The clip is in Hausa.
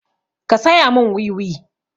Ka saya mun wiwi!